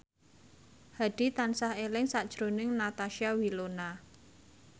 Hadi tansah eling sakjroning Natasha Wilona